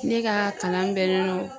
Ne ka kalan bɛnnen do